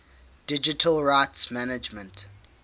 digital rights management